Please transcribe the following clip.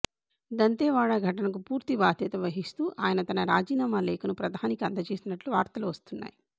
దంతెవాడ ఘటనకు పూర్తి బాధ్యత వహిస్తూ ఆయన తన రాజీనామా లేఖను ప్రధానికి అందజేసినట్లు వార్తలు వస్తున్నాయి